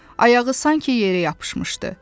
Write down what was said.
Ayağı sanki yerə yapışmışdı.